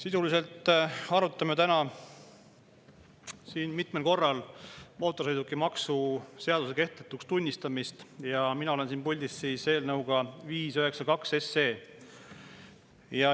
Sisuliselt arutame täna siin mitmel korral mootorsõidukimaksu seaduse kehtetuks tunnistamist ja mina olen siin puldis eelnõuga 592.